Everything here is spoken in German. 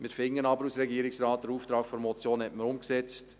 Der Regierungsrat findet aber, man habe den Auftrag der Motion umgesetzt.